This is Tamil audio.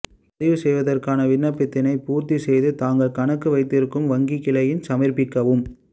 பதிவு செய்வதற்கான விண்ணப்பத்தினைப் பூர்த்தி செய்து தாங்கள் கணக்கு வைத்திருக்கும் வங்கிக் கிளையில் சமர்ப்பிக்கவும்